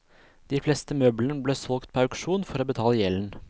De fleste møblene ble solgt på auksjon for å betale gjelden.